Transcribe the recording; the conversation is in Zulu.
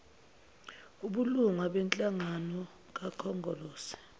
obulunga benhlangano kakhongolose